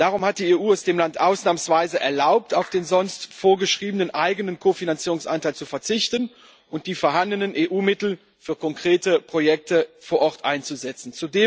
Darum hat die EU es dem Land ausnahmsweise erlaubt, auf den sonst vorgeschriebenen eigenen Kofinanzierungsanteil zu verzichten und die vorhandenen EU-Mittel für konkrete Projekte vor Ort einzusetzen.